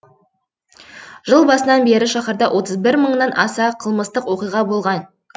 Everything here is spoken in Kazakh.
жыл басынан бері шаһарда отыз бір мыңнан аса қылмыстық оқиға болған